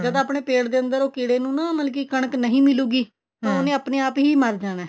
ਉਰੇ ਤਾਂ ਆਪਣੇ ਪੇਟ ਦੇ ਅੰਦਰ ਮਤਲਬ ਕੀੜੇ ਨੂੰ ਨਾ ਮਤਲਬ ਕੀ ਕਣਕ ਨਹੀਂ ਮਿਲੂਗੀ ਆਪ ਹੀ ਮਰ ਜਾਣਾ